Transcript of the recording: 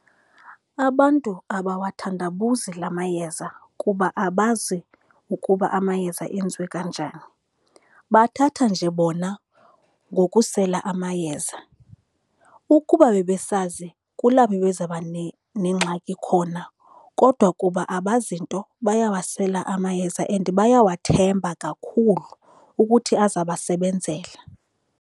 Abantu abawathandabuzi la mayeza kuba abazi ukuba amayeza enziwe kanjani. Bathatha nje bona ngokusela amayeza. Ukuba bebesazi kulapho bebezaba nengxaki khona, kodwa kuba abazi nto bayawasela amayeza and bayawathemba kakhulu ukuthi aza basebenzela.